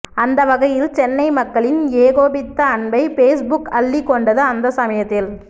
அந்த வகையில் சென்னை மக்களின் ஏகோபித்த அன்பை பேஸ்புக் அள்ளிக் கொண்டது அந்த சமயத்தில்